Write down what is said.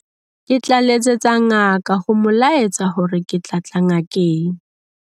Ke tla letsetsa ngaka ho mo laetsa hore ke tla tla ngakeng.